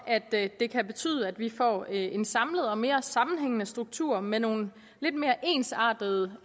at det kan betyde at vi får en samlet og mere sammenhængende struktur med nogle lidt mere ensartede